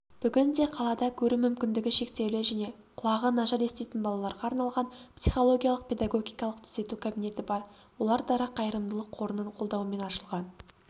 бүгінде қалада көру мүмкіндігі шектеулі және құлағы нашар еститін балаларға арналған психологиялық-педагогикалық түзету кабинеті бар олар дара қайырымдылық қорының қолдауымен ашылған